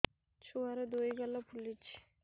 ଛୁଆର୍ ଦୁଇ ଗାଲ ଫୁଲିଚି